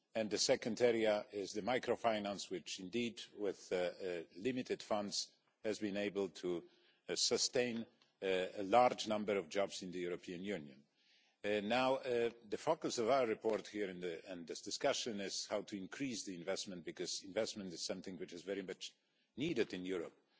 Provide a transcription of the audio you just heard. The second area is microfinance, which, indeed, with limited funds has been able to sustain a large number of jobs in the European Union. The focus of our report here in this discussion is how to increase investment, because investment is something which is very much needed in Europe.